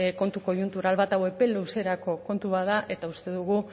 kontu koiuntural bat epe luzerako kontu bat da eta uste dugu